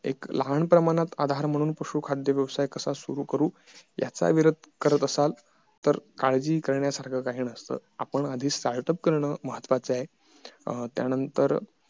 एक लहान प्रमाणात आधार म्हणून पशु खाद्य व्यवसाय कसा सुरु करू याचा विचार करत असाल तर काळजी करण्या सारखं काही नसत आपण आधी start up करणं महत्वाचं आहे त्या नंतर